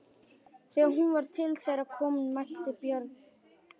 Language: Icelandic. Þegar hún var til þeirra komin mælti Björn: